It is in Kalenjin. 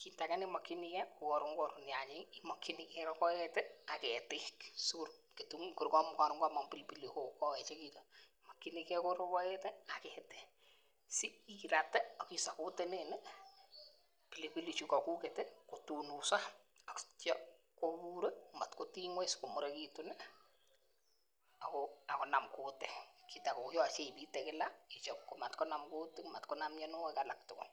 kit age nemokyingee ko koron korur nyanyik imokyinigee rogoet ak ketik sikoron komong pilipili hoho koechekitun imokyinigee rogoet ak ketik sikirate ak isapotenen pilipilik chukokuket ih kotonoso ak itya kobur matkotiny ng'weny ak konam kutik yoche ibite kila ichop matkonam kutik matkonam mionwogik alak tugul